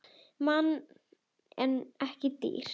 Mann en ekki dýr.